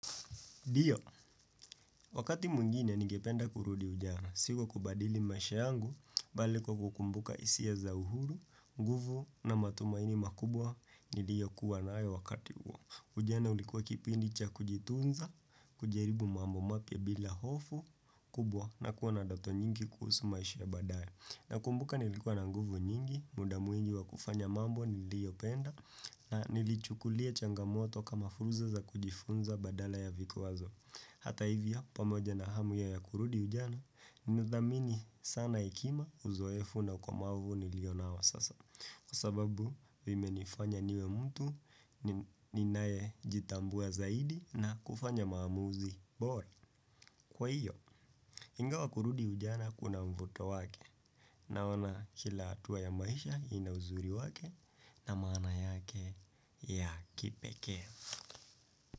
Ndio, wakati mwingine ningependa kurudi ujana, si kwa kubadili maisha yangu, bali kwa kukumbuka hisia za uhuru, nguvu na matumaini makubwa niliyokuwa na nayo wakati huo. Ujana ulikuwa kipindi cha kujitunza, kujaribu mambo mapya bila hofu, kubwa na kuwa na ndato nyingi kuhusu maisha ya badae. Nakumbuka nilikuwa na nguvu nyingi, muda mwingi wa kufanya mambo niliyopenda, na nilichukulia changamoto kama fursa za kujifunza badala ya vikwazo. Hata hivyo pamoja na hamu ya kurudi ujana, nilizamini sana hekima uzoefu na ukomavu nilio nao sasa. Kwa sababu, vimenifanya niwe mtu, ninayejitambua zaidi na kufanya maamuzi bora. Kwa hiyo, ingawa kurudi ujana kuna mvuto wake. Naona kila atua ya maisha ina uzuri wake na maana yake ya kipekee.